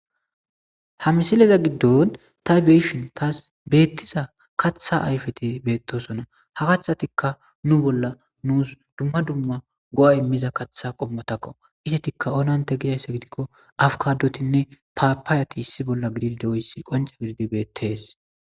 Ha misileza giddon ta beishin taas beettiza katha ayfete beettosona ha kathatikka nu bolla nuus dumma dumma go7a immiza kaththa qommotakko itetikka onante gidayssa gidikko afkadotinne paapaayati issi bolla gidide oyssi qonca gididi beettees